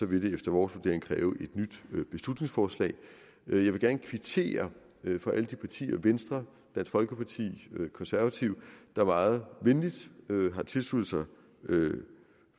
vil det efter vores vurdering kræve et nyt beslutningsforslag jeg vil gerne kvittere for alle de partier venstre dansk folkeparti og konservative der meget venligt har tilsluttet